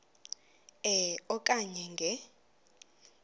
e okanye nge